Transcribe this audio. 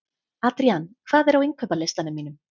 Adrían, hvað er á innkaupalistanum mínum?